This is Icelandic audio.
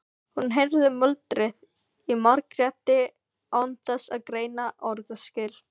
Hún heyrði muldrið í Margréti án þess að greina orðaskil.